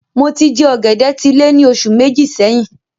Mo tí jẹ ògèdè tí lẹ́ ní oṣù Méjì sẹyìn